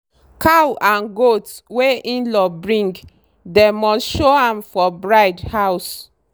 cow and goat wey in-law bring dem must show am for bride house.